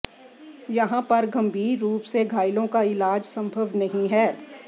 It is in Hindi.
यहां पर गंभीर रूप से घायलों का इलाज संभव नहीं है